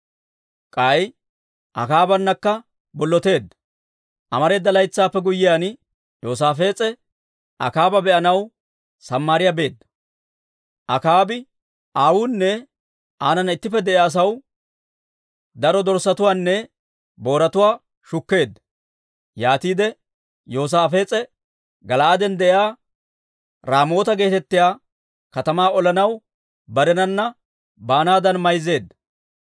Amareeda laytsaappe guyyiyaan, Yoosaafees'e Akaaba be'anaw Samaariyaa beedda. Akaabi aawunne aanana ittippe de'iyaa asaw daro dorssatuwaanne booratuwaa shukkeedda. Yaatiide Yoosaafees'e Gala'aaden de'iyaa Raamoota geetettiyaa katamaa olanaw barenana baanaadan mayzeedda.